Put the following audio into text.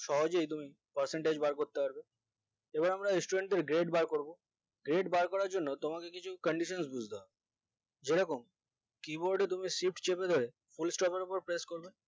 সহজেই তুমি percentage বার করতে পারবে এবার আমরা studet grade বার করবো grade বার করার জন্য তোমাকে কিছু condition বুজতে হবে যেরকম keyboard এর তুমি shift চেপে ধরে fullstop এর ওপরে press করবে